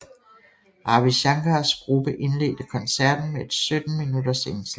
Ravi Shankars gruppe indledte koncerten med et 17 minutters indslag